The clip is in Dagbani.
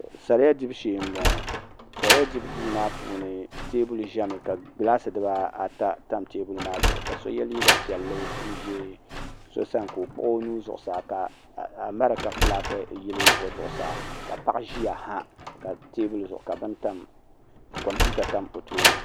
sariya dibu shee n boŋo sariya dibu duu maa puuni teebuli ʒɛmi ka gilaasi dibaata tam dizuɣu ka bia yɛ liiga piɛlli n ʒi so sani ka o kpuɣi o nuu zuɣusaa ka amɛrika fulaaki yili o zuɣusaa paɣa ʒiya ha teebuli zuɣu ka kompiuta tam o tooni